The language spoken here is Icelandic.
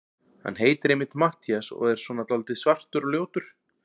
Hann heitir einmitt Matthías og er svona dáldið svartur og ljótur.